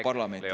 Aeg, Leo!